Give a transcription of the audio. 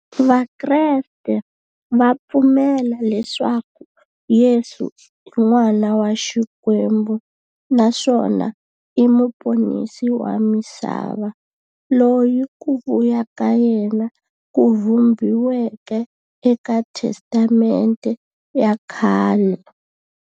Vakreste va pfumela leswaku Yesu i n'wana wa Xikwembu naswona i muponisi wa misava, loyi ku vuya ka yena ku vhumbiweke e ka Testamente ya khale.